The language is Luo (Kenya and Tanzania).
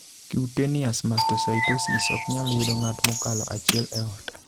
Cutaneous mastocytosis ok nyal yudo ng'at mokalo achiel e ot.